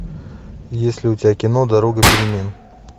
есть ли у тебя кино дорога перемен